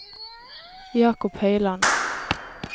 Jacob Høiland